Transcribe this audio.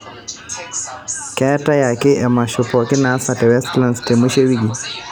keetae ake emasho pooki naasa te westlands te mwisho e wiki